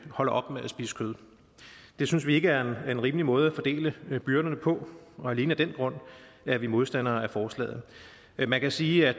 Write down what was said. holde op med at spise kød det synes vi ikke er en rimelig måde at fordele byrderne på og alene af den grund er vi modstandere af forslaget man kan sige at